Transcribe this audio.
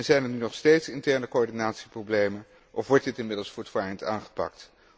Zijn er nu nog steeds interne coördinatieproblemen, of wordt dit inmiddels voortvarend aangepakt?